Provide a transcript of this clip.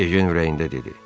Ejen ürəyində dedi: